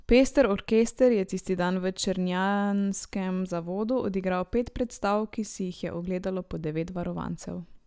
Pester orkester je tisti dan v črnjanskem zavodu odigral pet predstav, ki si jih je ogledalo po devet varovancev.